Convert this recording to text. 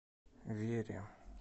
вере